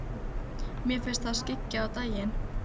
Mér finnst það skyggja á daginn.